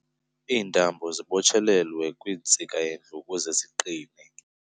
Iintambo zibotshelelwe kwintsika yendlu ukuze ziqine.